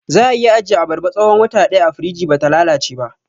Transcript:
Za'a iya ajiye abarba tsahon wata ɗaya a firij bata lalace ba